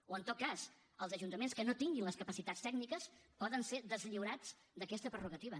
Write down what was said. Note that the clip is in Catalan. o en tot cas els ajuntaments que no tinguin les capacitats tècniques poden ser deslliurats d’aquesta prerrogativa